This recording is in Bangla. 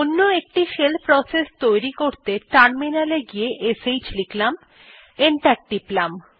অন্য একটি শেল প্রসেস সৃষ্টি করতে টার্মিনালে গিয়ে শ্ লিখলাম এবং এন্টার টিপলাম